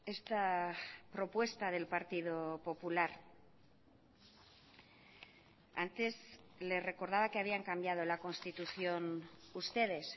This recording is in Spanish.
esta propuesta del partido popular antes le recordaba que habían cambiado la constitución ustedes